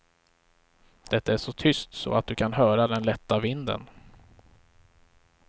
Det är så tyst så att du kan höra den lätta vinden.